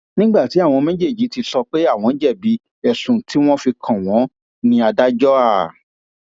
nígbà tí àwọn méjèèjì ti sọ pé àwọn jẹbi ẹsùn tí wọn fi kàn wọn ní adájọ a